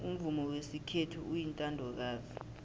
umvumo wesikhethu uyintandokazi